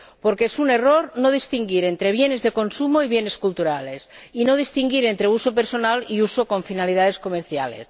Porque es un error no distinguir entre bienes de consumo y bienes culturales, y no distinguir entre uso personal y uso con finalidades comerciales.